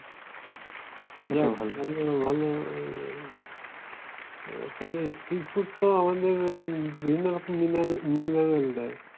যাক এগুলো ভালো আহ তবে sea food তো আমাদের আহ বিভিন্ন রকম mine~ mineral দেয়।